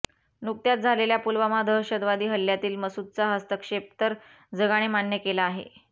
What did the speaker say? नुकत्याच झालेल्या पुलवामा दहशतवादी हल्ल्यातील मसूदचा हस्तक्षेप तर जगाने मान्य केला आहे